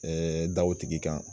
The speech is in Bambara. da o tigi kan